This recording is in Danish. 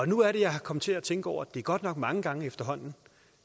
nu er det jeg er kommet til at tænke over at det godt nok er mange gange efterhånden